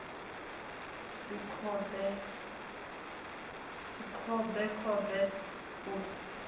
si khombe khombe u ṱo